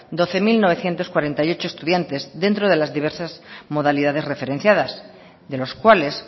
doce mil novecientos cuarenta y ocho estudiantes dentro de las diversas modalidades referenciadas de los cuales